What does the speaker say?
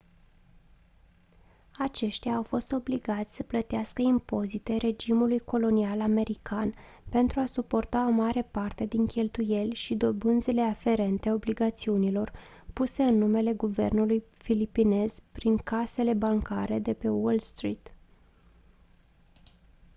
aceștia au fost obligați să plătească impozite regimului colonial american pentru a suporta o mare parte din cheltuieli și dobânzile aferente obligațiunilor puse în numele guvernului filipinez prin casele bancare de pe wall street